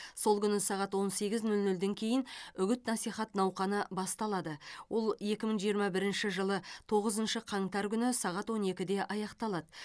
сол күні сағат он сегіз нөл нөлден кейін үгіт насихат науқаны басталады ол екі мың жиырма бірінші жылы тоғызыншы қаңтар күні сағат он екіде аяқталады